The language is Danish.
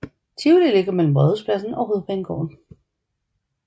Tivoli ligger mellem Rådhuspladsen og Hovedbanegården